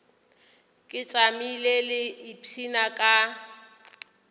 ke tšamile ke ipshina ka